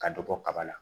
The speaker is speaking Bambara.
Ka dɔ bɔ kaba la